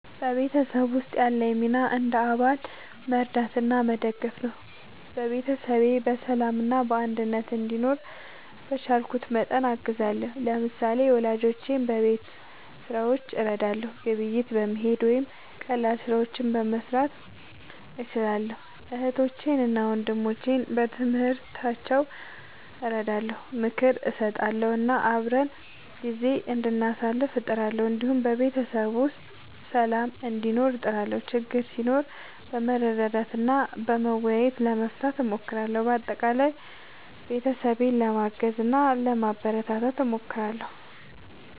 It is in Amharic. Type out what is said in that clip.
በቤተሰብ ውስጥ ያለኝ ሚና እንደ አባል መርዳትና መደጋገፍ ነው። ቤተሰቤ በሰላምና በአንድነት እንዲኖር በቻልኩት መጠን አግዛለሁ። ለምሳሌ፣ ወላጆቼን በቤት ሥራዎች እረዳለሁ፣ ግብይት መሄድ ወይም ቀላል ስራዎችን መስራት እችላለሁ። እህቶቼንና ወንድሞቼን በትምህርታቸው እረዳለሁ፣ ምክር እሰጣለሁ እና አብረን ጊዜ እንዳሳልፍ እጥራለሁ። እንዲሁም በቤተሰብ ውስጥ ሰላም እንዲኖር እጥራለሁ፣ ችግር ሲኖር በመረዳዳት እና በመወያየት ለመፍታት እሞክራለሁ። በአጠቃላይ ቤተሰቤን ለማገዝ እና ለማበረታታት እሞክራለሁ።